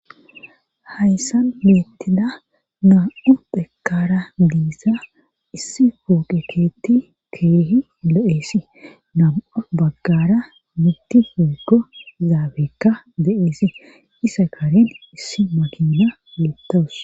Hayssan beettida naam'u dekara geessa issi fooqeketti keehi lo7eesi nam7a baggara mitti fiego zaabekka de7eesi isa karin issi makinna beettaus.